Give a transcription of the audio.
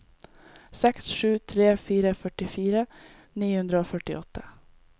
seks sju tre fire førtifire ni hundre og førtiåtte